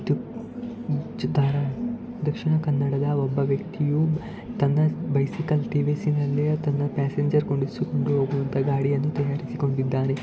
ಇದು ಚಿತ್ರಣ ದಕ್ಷಿಣ ಕನ್ನಡದ ಒಬ್ಬ ವ್ಯಕ್ತಿಯು ತನ್ನ ಬೈಸಿಕಲ್‌ ಟಿ_ವಿ_ಎಸ್‌ ನಲ್ಲಿ ಪಾಸೆಂಜರ್‌ ಕೂರಿಸಿಕೊಂಡು ಹೋಗುವಂತಹ ಗಾಡಿಯನ್ನು ತೆಗೆದುಕೊಂಡಿದ್ದಾನೆ.